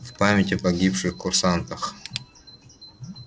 в память о погибших курсантах